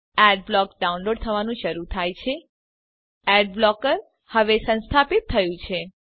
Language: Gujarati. એડબ્લોક ડાઉનલોડ થવાનું શરૂ થાય છે એડ બ્લોકર હવે સંસ્થાપિત થયું છે